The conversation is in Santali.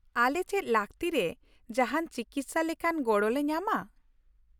ᱟᱞᱮ ᱪᱮᱫ ᱞᱟᱹᱠᱛᱤᱨᱮ ᱡᱟᱦᱟᱱ ᱪᱤᱠᱤᱥᱥᱟᱼ ᱞᱮᱠᱟᱱ ᱜᱚᱲᱚ ᱞᱮ ᱧᱟᱢᱟ ?